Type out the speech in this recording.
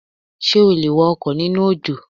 Ṣé o lè wa ọkọ̀ nínú òjò?